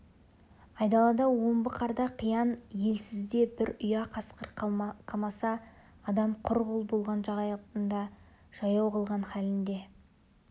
айдалада омбы қарда қиян елсізде бір ұя қасқыр қамаса адам құр қол болған шағында жаяу қалған халінде